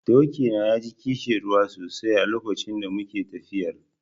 Doki na ya ji ƙishirwa sosai a lokacin da muke tafiyar.